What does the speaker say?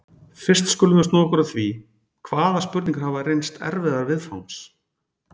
Fyrst skulum við snúa okkur að því, hvaða spurningar hafa reynst erfiðar viðfangs.